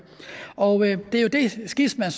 og det er jo det skisma